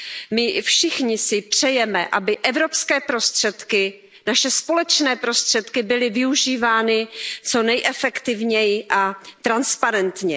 My všichni si přejeme, aby evropské prostředky, naše společné prostředky byly využívány co nejefektivněji a transparentně.